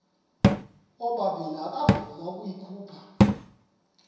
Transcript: ubabini akavuma ukuyikhupha